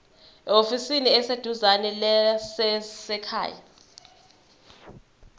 ehhovisi eliseduzane lezasekhaya